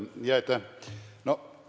Jaa, aitäh!